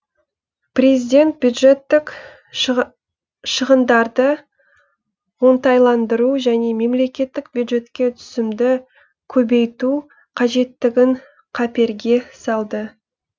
президент бюджеттік шығындарды оңтайландыру және мемлекеттік бюджетке түсімді көбейту қажеттігін қаперге салды